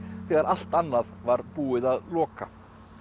þegar allt annað var búið að loka